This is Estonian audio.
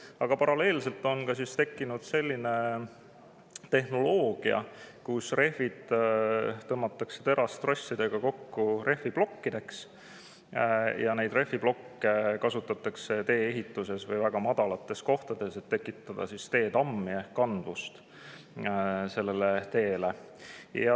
Aga paralleelselt on tekkinud selline tehnoloogia, et rehvid tõmmatakse terastrossidega kokku rehviplokkideks ja neid rehviplokke kasutatakse tee-ehituses või väga madalates kohtades, et tekitada teetammi ehk kandvust sellele teele.